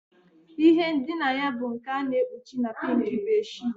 Ihe ndina ya bụ nke a na-ekpuchi na pink bedsheets